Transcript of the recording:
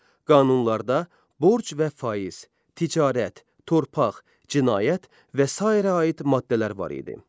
Qanunlarda borc və faiz, ticarət, torpaq, cinayət və sairə aid maddələr var idi.